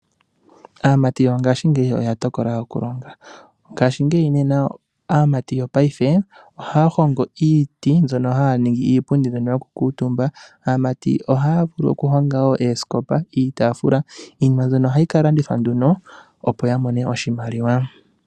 Aamati yongashingeyi oya tokola okulanda ngaashingeyi, ngashingeyi nena aamati yopaife ohaa hongo iiti mbyono yokukuutumba aamati ohaa vulu wo okuhonga oosikopa niitafula iinima mbyono ohayi ka landithwa ne opo ya mone oshimaliwa.